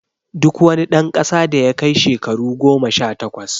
Duk wani dan kasa da yakai shakaru goma sha takwas